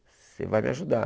Você vai me ajudar.